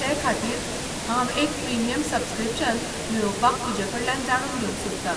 ते खातीर हांव एक प्रिमियम सब्सक्रिप्शन मेळोवपाक तुजेकडल्यान जाणून घेवंक सोदतां.